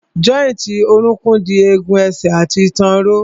Jọ́ìntì orókún dì egun ẹsẹ̀ àti ìtàn ró.